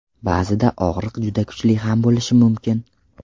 Ba’zida og‘riq juda kuchli ham bo‘lishi mumkin.